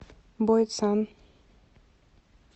бойцан